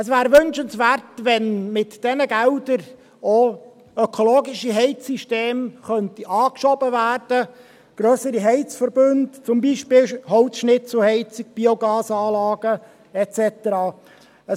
Es wäre wünschenswert, wenn mit diesen Geldern auch ökologische Heizsysteme und grössere Heizverbünde, zum Beispiel Holzschnitzelheizungen, Biogasanlagen et cetera, angeschoben werden könnten.